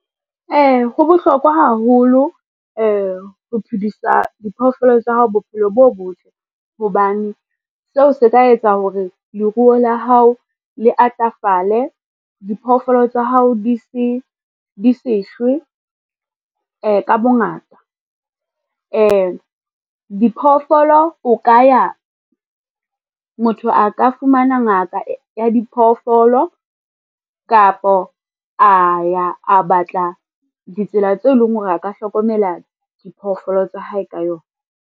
Ho bohlokwa haholo ho phodisa diphoofolo tsa hao bophelo bo botle, hobane seo se ka etsa hore leruo la hao le atafale. Diphoofolo tsa hao di se shwe ka bongata. Diphoofolo motho a ka fumana ngaka ya diphoofolo kapo a ya a batla ditsela tseo e leng hore a ka hlokomela diphoofolo tsa hae ka yona.